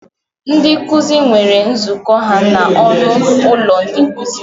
Ndị nkuzi nwere nzukọ ha na ọnụ ụlọ ndị nkuzi.